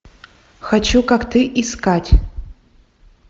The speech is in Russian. хочу как ты искать